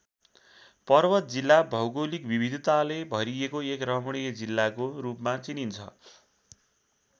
पर्वत जिल्ला भौगोलिक विविधताले भरिएको एक रमणीय जिल्लाको रूपमा चिनिन्छ।